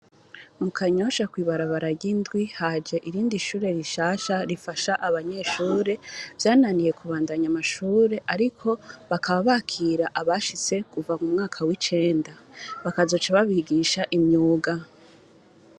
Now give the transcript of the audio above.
Mu kanyosha kwibara baragindwi haje irindi ishure rishasha rifasha abanyeshure vyananiye kubandanya amashure, ariko bakaba bakira abashitse kuva mu mwaka w'icenda bakazoca babigisha imyuga.